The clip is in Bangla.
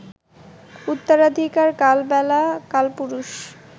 উত্তরাধিকার, কালবেলা, কালপুরুষ